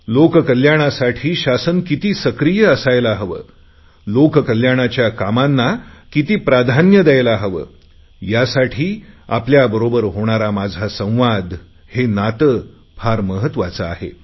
लोक कल्याणासाठी शासन किती सक्रीय असायला हवे लोक कल्याणाच्या कामांना किती प्राधान्य दयायला हवे यासाठी आपल्याबरोबर होणारा माझ संवाद हे नाते फार महत्त्वाचे आहे